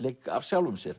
af sjálfum sér